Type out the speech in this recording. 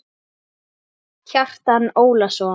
Kjartan Ólason